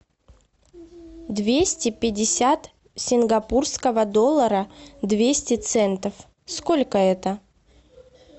двести пятьдесят сингапурского доллара двести центов сколько это